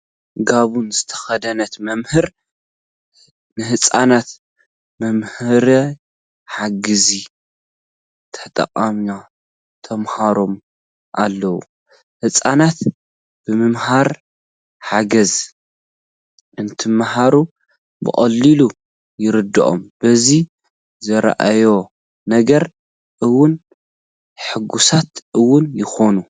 ጋቦን ዝተኸደነት መምህር ንህፃናት መምሃሪ ሓገዝ ተጠቒማ ተምህሮም ኣላ፡፡ ህፃናት ብመምሃሪ ሓገዝ እንትመሃሩ ብቐሊሉ ይርድኦም፡፡ በዚ ዝርእይዎ ነገር እውን ሕጉሳት እውን ይኾኑ፡፡